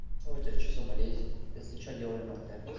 что у тебя что за болезнь если что делай мрт